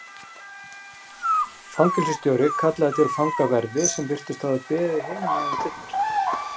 Fangelsisstjórinn kallaði til fangaverði sem virtust hafa beðið hinum megin við dyrnar.